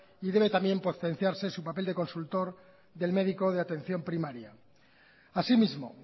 y debe también potenciarse su papel de consultor del médico de atención primaria asimismo